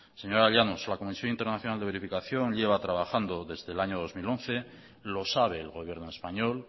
señora llanos la comisión internacional de verificación lleva trabajando desde el año dos mil once lo sabe el gobierno español